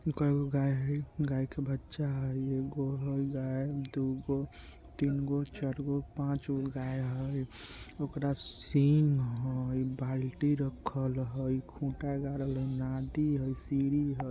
उ काएगो गाय हेय गाय के बच्चा हेय एगो हेय गाय दु गो तीन गो चार गो पाँच गो गाय है ओकरा सिंघ हेय बाल्टी रखल हेय खुटा हेय।